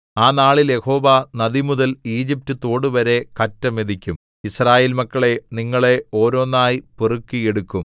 ആ നാളിൽ യഹോവ നദിമുതൽ ഈജിപ്റ്റുതോടുവരെ കറ്റ മെതിക്കും യിസ്രായേൽ മക്കളേ നിങ്ങളെ ഓരോന്നായി പെറുക്കി എടുക്കും